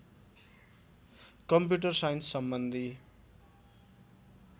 computer साइन्ससम्बन्धी